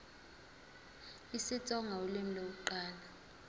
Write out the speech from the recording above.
isitsonga ulimi lokuqala